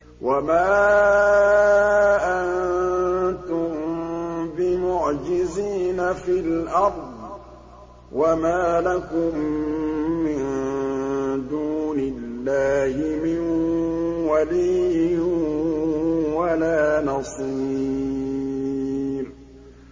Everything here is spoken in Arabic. وَمَا أَنتُم بِمُعْجِزِينَ فِي الْأَرْضِ ۖ وَمَا لَكُم مِّن دُونِ اللَّهِ مِن وَلِيٍّ وَلَا نَصِيرٍ